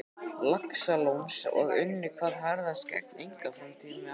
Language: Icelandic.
Laxalóns og unnu hvað harðast gegn einkaframtaki mínu.